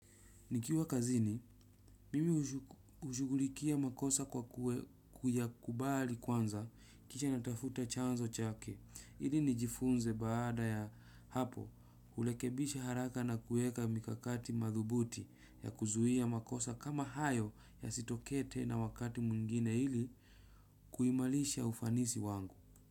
Nikiwa kazini, mimi hushu hushugulikia makosa kwa kuyakubali kwanza, kisha ninatafuta chanzo chake, ili nijifunze baada ya hapo, hulekebisha haraka na kueka mikakati madhubuti ya kuzuia makosa kama hayo yasitokee tena wakati mwingine ili kuimalisha ufanisi wangu.